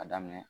A daminɛ